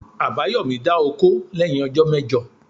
Abayomi a dà òkó leyin òjó mejò.